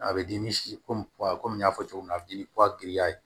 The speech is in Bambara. A bɛ dimi komi kɔmi n y'a fɔ cogo min na a dimi